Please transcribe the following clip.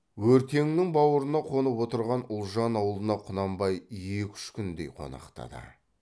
өртеңнің баурына қонып отырған ұлжан аулына құнанбай екі үш күндей қонақтады